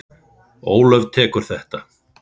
Ólöf tekur undir þetta.